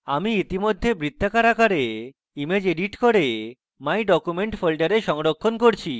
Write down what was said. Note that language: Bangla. আমি ইতিমধ্যে বৃত্তাকার আকারে ইমেজ এডিট করে my documents folder সংরক্ষণ করছি